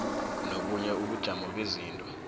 nobunye ubujamo bezinto